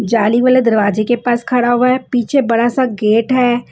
जाली वाले दरवाजे के पास खड़ा हुआ है पीछे बड़ा सा गेट है।